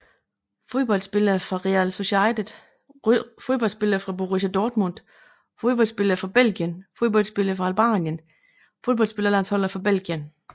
Fodboldspillere fra Real Sociedad Fodboldspillere fra Borussia Dortmund Fodboldspillere fra Belgien Fodboldspillere fra Albanien Fodboldlandsholdsspillere fra Belgien